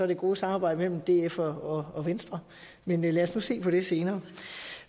det gode samarbejde mellem df og og venstre men lad os nu se på det senere